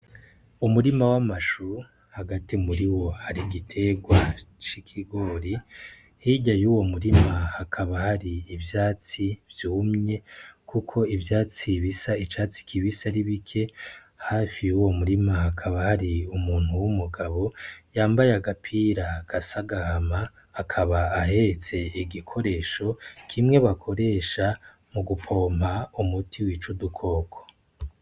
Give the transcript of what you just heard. Umurima w'amashuru hagati muri wo ari igiterwa c'i kigori hirya y'uwo murima hakaba hari ivyatsi vyumye, kuko ivyatsi bisa icatsi kibisa aribike hafi y'uwo murima hakaba hari umuntu w'umugabo yambaye agapira gasagahaa ma akaba ahetse igikoresho kimwe bakoresha mu gupompa umuti w'icu dukoko.